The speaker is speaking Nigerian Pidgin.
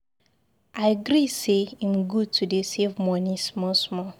I gree say im good to dey save money small small